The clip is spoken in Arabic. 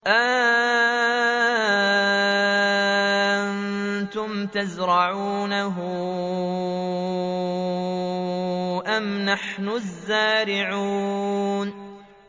أَأَنتُمْ تَزْرَعُونَهُ أَمْ نَحْنُ الزَّارِعُونَ